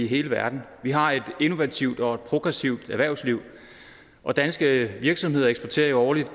hele verden vi har et innovativt og progressivt erhvervsliv og danske virksomheder eksporterer årligt